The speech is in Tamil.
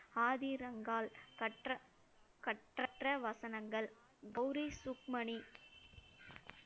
ஆதி ரங்கால், கற்ற~ கற்றற்ற வசனங்கள். கௌரி சுக்மணி